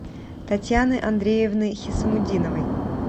татьяны андреевны хисамутдиновой